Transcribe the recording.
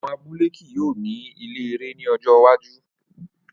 Awọn abule kii yoo ni ile ẹrẹ ni ọjọ iwaju